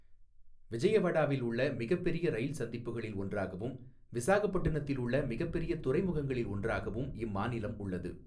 விஜயவாடாவில் உள்ள மிகப்பெரிய ரயில் சந்திப்புகளில் ஒன்றாகவும், விசாகப்பட்டினத்தில் உள்ள மிகப்பெரிய துறைமுகங்களில் ஒன்றாகவும் இம்மாநிலம் உள்ளது.